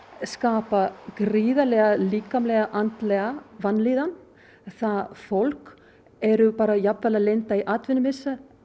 skapa gríðarlega líkamlega og andlega vanlíðan það fólk er bara jafnvel að lenda í atvinnumissi